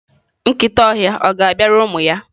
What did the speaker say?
nkịta ọhịa ọ̀ ga-abịara ụmụ ya?